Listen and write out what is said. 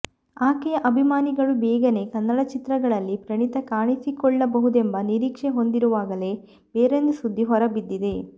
ಆಕೆಯ ಅಭಿಮಾನಿಗಳು ಬೇಗನೆ ಕನ್ನಡ ಚಿತ್ರಗಳಲ್ಲಿ ಪ್ರಣೀತಾ ಕಾಣಿಸಿಕೊಳ್ಳ ಬಹುದೆಂಬ ನಿರೀಕ್ಷೆ ಹೊಂದಿರುವಾಗಲೇ ಬೇರೊಂದು ಸುದ್ದಿ ಹೊರ ಬಿದ್ದಿದೆ